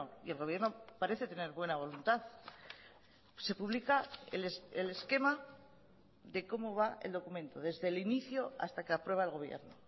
y el gobierno parece tener buena voluntad se publica el esquema de cómo va el documento desde el inicio hasta que aprueba el gobierno